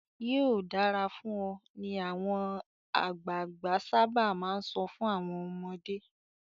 "Yóò dára fún ọ" ni àwọn àgbàgbà sábà máa ń sọ fún àwọn ọmọdé.